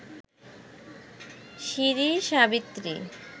Shri Savitri